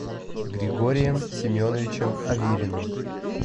григорием семеновичем авериным